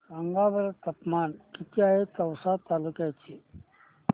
सांगा बरं तापमान किती आहे तिवसा तालुक्या चे